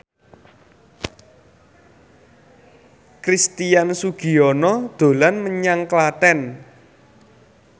Christian Sugiono dolan menyang Klaten